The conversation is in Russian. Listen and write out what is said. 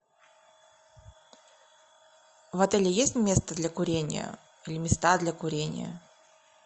в отеле есть место для курения или места для курения